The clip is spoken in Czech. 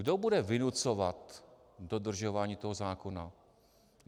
Kdo bude vynucovat dodržování toho zákona?